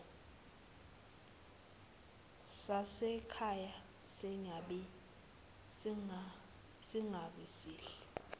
sasekhaya singabi sihle